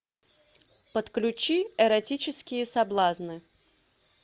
подключи эротические соблазны